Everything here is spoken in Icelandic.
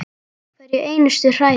Hverja einustu hræðu!